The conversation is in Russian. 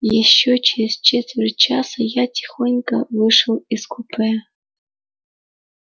ещё через четверть часа я тихонько вышел из купе